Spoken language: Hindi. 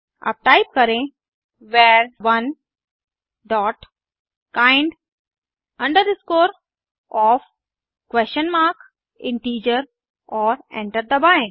अब टाइप करें वर1 dot kind OF question mark integer और एंटर दबाएं